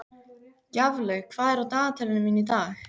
Gjaflaug, hvað er á dagatalinu mínu í dag?